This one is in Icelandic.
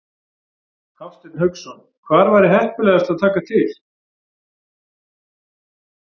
Hafsteinn Hauksson: Hvar væri heppilegast að taka til?